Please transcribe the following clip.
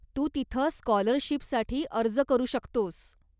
तू तिथं स्काॅलरशीपसाठी अर्ज करू शकतोस.